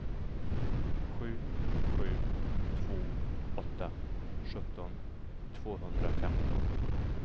sju sju två åtta sjutton tvåhundrafemton